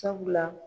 Sabula